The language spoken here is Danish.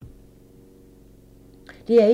DR1